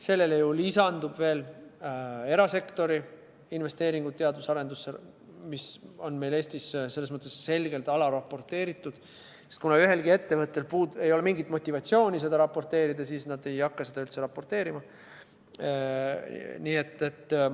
Sellele lisanduvad veel erasektori investeeringud teadus- ja arendustegevusse, mis on meil Eestis selgelt alaraporteeritud, sest kuna ühelgi ettevõttel ei ole mingit motivatsiooni seda raporteerida, siis nad ei hakka seda üldse raporteerima.